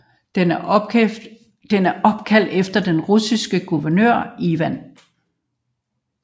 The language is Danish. Den er opkaldt efter den russiske guvernør Ivan Sinelnikov